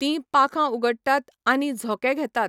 तीं पाखां उगडटात आनी झोंके घेतात.